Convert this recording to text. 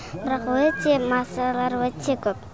бірақ өте масалар өте көп